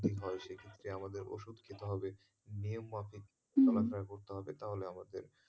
হয় যে আমাদের ওষুধ খেতে হবে নিয়ম মাফিক খেলাধুলা করতে হবে তাহলে আমাদের,